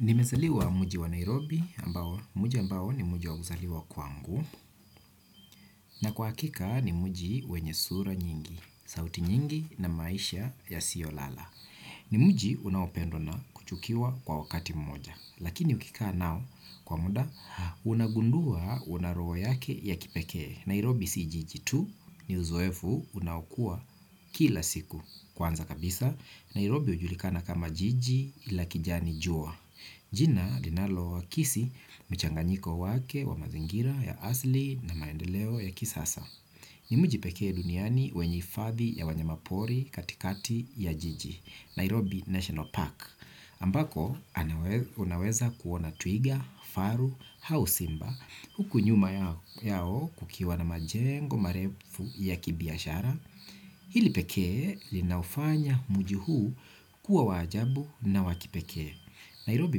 Nimezaliwa mji wa Nairobi, mji ambao ni mji wa kuzaliwa kwangu, na kwa hakika ni mji wenye sura nyingi, sauti nyingi na maisha yasiyolala. Ni mji unaopendwa na kuchukiwa kwa wakati mmoja, lakini ukikaa nao kwa muda, unagundua una roho yake ya kipekee. Nairobi si jiji tu, ni uzoefu unaokua kila siku. Kwanza kabisa, Nairobi hujulikana kama jiji la kijani jua. Jina linalokisi mchanganyiko wake wa mazingira ya asili na maendeleo ya kisasa. Ni mji pekee duniani wenye hifadhi ya wanyamapori katikati ya jiji, Nairobi National Park. Ambako unaweza kuona twiga, faru au simba, huku nyuma yao kukiwa na majengo marefu ya kibiashara. Hili pekee linaufanya mji huu kuwa wa ajabu na wa kipekee. Nairobi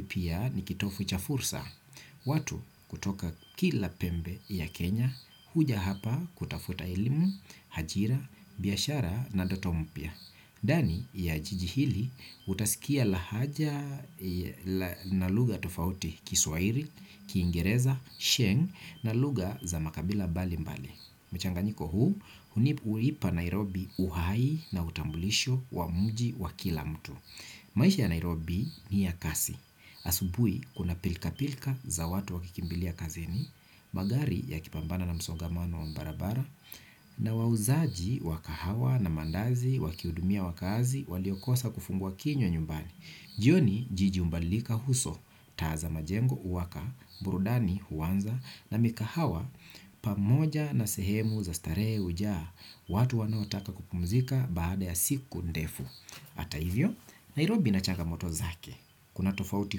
pia ni kitovu cha fursa. Watu kutoka kila pembe ya Kenya huja hapa kutafuta elimu, ajira, biashara na ndoto mpya. Ndani ya jiji hili utasikia lahaja na lugha tofauti: Kiswahili, Kiingereza, Sheng na lugha za makabila mbalimbali. Mchanganyiko huu huipa Nairobi uhai na utambulisho wa mji wa kila mtu. Maisha ya Nairobi ni ya kasi. Asubuhi kuna pilikapilika za watu wakikimbilia kazini, magari yakipambana na msongamano wa barabara, na wauzaji wa kahawa na maandazi wakihudumia wakazi waliokosa kufungua kinywa nyumbani. Jioni jiji hubadilika uso, taa za majengo huwaka, burudani huanza na mikahawa pamoja na sehemu za starehe hujaa, watu wanaotaka kupumzika baada ya siku ndefu. Hata hivyo, Nairobi ina changamoto zake, kuna tofauti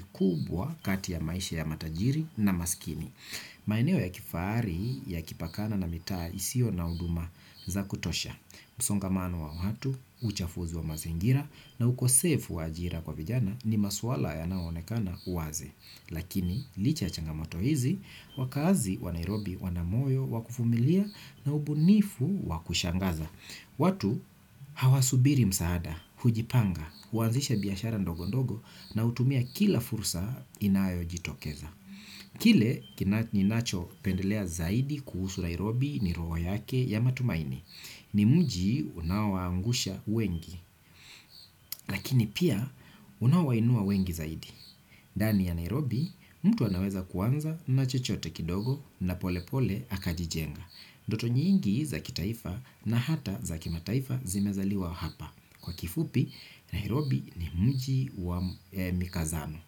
kubwa kati ya maisha ya matajiri na maskini. Maeneo ya kifahari yakipakana na mitaa isiyo na huduma za kutosha. Msongamano wa watu, uchafuzi wa mazingira na ukosefu wa ajira kwa vijana ni masuala yanayoonekana waziwazi. Lakini, licha ya changamoto hizi, wakazi wa Nairobi wana moyo wa kuvumilia na ubunifu wa kushangaza. Watu hawasubiri msaada, hujipanga, huanzisha biashara ndogondogo na hutumia kila fursa inayojitokeza. Kile ninachopendea zaidi kuhusu Nairobi ni roho yake ya matumaini. Ni mji unaowaangusha wengi lakini pia unaowainua wengi zaidi. Ndani ya Nairobi, mtu anaweza kuanza na chochote kidogo na polepole akajijenga. Ndoto nyingi za kitaifa na hata za kimataifa zimezaliwa hapa. Kwa kifupi, Nairobi ni mji wa mikazano,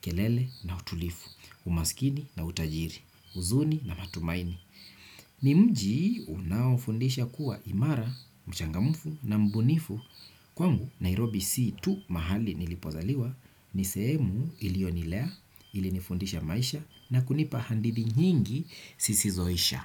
kelele na utulivu, umaskini na utajiri, huzuni na matumaini. Ni mji unaofundisha kuwa imara, mchangamfu na mbunifu. Kwangu Nairobi si tu mahali nilipozaliwa, ni sehemu ilionilea, ulinifundisha maisha na kunipa hadithi nyingi zisizoisha.